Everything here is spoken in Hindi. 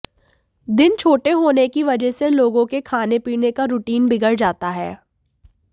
दिन छोटे होने की वजह से लोगों के खाने पीने का रुटीन बिगड़ जाता है